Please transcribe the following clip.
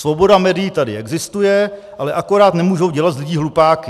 Svoboda médií tady existuje, ale akorát nemůžou dělat z lidí hlupáky.